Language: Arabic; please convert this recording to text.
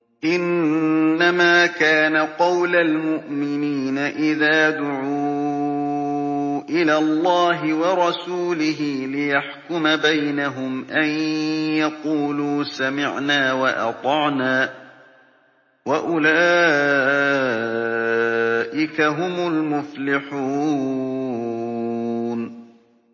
إِنَّمَا كَانَ قَوْلَ الْمُؤْمِنِينَ إِذَا دُعُوا إِلَى اللَّهِ وَرَسُولِهِ لِيَحْكُمَ بَيْنَهُمْ أَن يَقُولُوا سَمِعْنَا وَأَطَعْنَا ۚ وَأُولَٰئِكَ هُمُ الْمُفْلِحُونَ